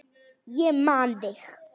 Ég man þig!